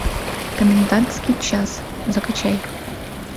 комендантский час закачай